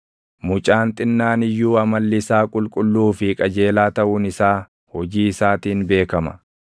Mucaan xinnaan iyyuu amalli isaa qulqulluu fi qajeelaa taʼuun isaa hojii isaatiin beekama.